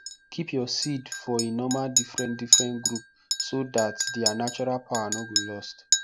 keep your seed for e normal different different group so that their natural power no go lost